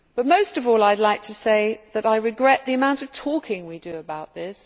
Most of all I would like to say that I regret the amount of talking we do about this.